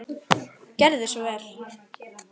Gerðu svo vel!